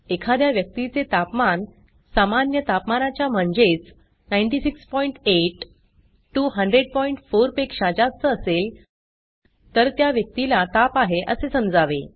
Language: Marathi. एखाद्या व्यक्तीचे तापमान सामान्य तापमानाच्या म्हणजेच 968 1004 पेक्षा जास्त असेल तर त्या व्यक्तीला ताप आहे असे समजावे